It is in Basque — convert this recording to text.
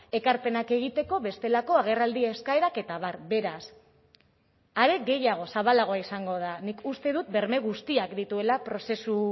ekarpenak egiteko bestelako agerraldi eskaerak eta abar beraz are gehiago zabalagoa izango da nik uste dut berme guztiak dituela prozesu